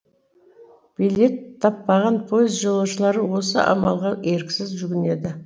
билет таппаған пойыз жолаушылары осы амалға еріксіз жүгінеді